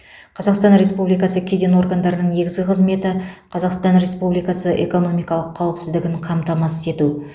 қазақстан республикасы кеден органдарының негізгі қызметі қазақстан республикасы экономикалық қауіпсіздігін қамтамасыз ету